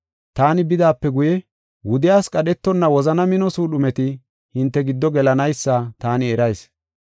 Taani bidaape guye, wudiyas qadhetonna wozana mino suudhumeti hinte giddo gelanaysa taani erayis.